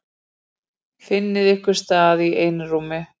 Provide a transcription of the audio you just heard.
Finnið ykkur stað í einrúmi.